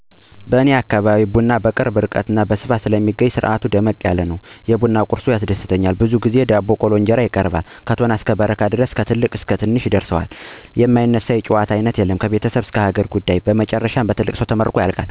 በኔ አካባቢ ቡና በቅርብ ርቀት ስለሚበቅልና በሰፊው ስለሚገኝ በሚፈላበት ግዜ ደመቅ ያለ ስነስርአት አለው። በተለይ የሚቀርበው የቡና ቁርሱ ያስደስተኛል ብዙውን ጊዜ የስንዴ ቂጣ አይቀርም። ጠፋ ጠፋ ቢባል ግን የማሽላ ንፍሮ ወይም እንጀራ በጨው ተቀብቶ ይቀርባል። አፈላሉም ቢሆን አቦል፣ ቶና፣ በረካ ድረስ ይፈላል። ቡናው መታጠብ ሲጀምር ጀምሮ ጎረቤቶች ይጠራሉ፤ የቡና ገንዳውም በፍንጃል ደምቆ የገንዳው ስር እና ዙሪያው በጨፌ ይደምቃል። ጎረቤቶች እንደተሰበሰቡ ቡናው እየተቀዳ ከትልቅ ሰው በመጀመር እየተሰጠና ቁርሱ እየተበላ የማይነሳ የጨዋታ አይነት የለም። ምን ልበላችሁ ከቤተሰብ ጀምሮ እስከ ሀገር ጉዳይ ይነሳል በዚህ መንገድ ቡናው ተጠጥቶ ሲያልቅ ትልቅ የሆነ ሰው ይመርቅና መለያየት ይሆናል።